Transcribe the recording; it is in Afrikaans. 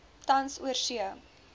tans oorsee